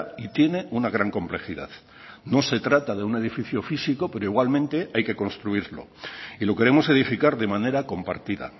y tiene una gran complejidad no se trata de un edificio físico pero igualmente hay que construirlo y lo queremos edificar de manera compartida